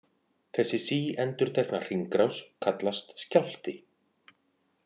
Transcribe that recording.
Þessi síendurtekna hringrás kallast skjálfti.